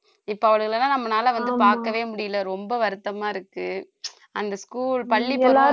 இப்ப அவளுகளை எல்லாம் நம்மனால வந்து பார்க்கவே முடியலை ரொம்ப வருத்தமா இருக்கு அந்த school பள்ளி